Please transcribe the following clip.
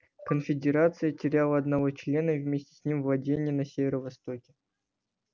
конфедерация теряла одного члена и вместе с ним владения на северо-востоке